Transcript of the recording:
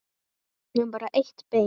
En bara eitt bein.